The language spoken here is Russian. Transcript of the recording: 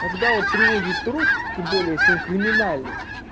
когда вот привозят труп тем более если он криминальный